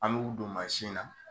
An b'olu don na